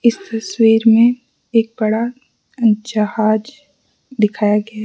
इस तस्वीर में एक बड़ा जहाज दिखाया गया है।